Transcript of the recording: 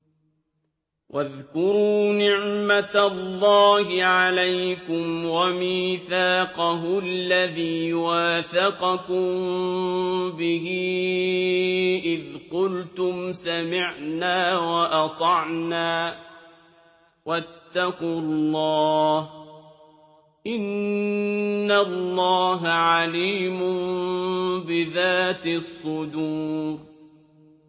وَاذْكُرُوا نِعْمَةَ اللَّهِ عَلَيْكُمْ وَمِيثَاقَهُ الَّذِي وَاثَقَكُم بِهِ إِذْ قُلْتُمْ سَمِعْنَا وَأَطَعْنَا ۖ وَاتَّقُوا اللَّهَ ۚ إِنَّ اللَّهَ عَلِيمٌ بِذَاتِ الصُّدُورِ